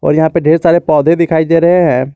और यहां पे ढेर सारे पौधे दिखाई दे रहे हैं।